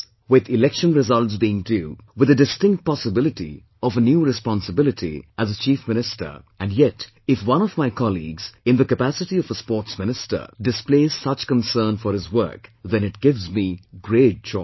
With election results being due, with the distinct possibility of a new responsibility as a Chief Minister, and yet if one of my colleagues, in the capacity of a Sports Minister, displays such concern for his work, then it gives me great joy